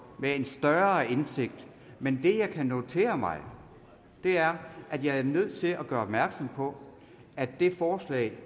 med en større indsigt men det jeg kan notere mig er at jeg er nødt til at gøre opmærksom på at det forslag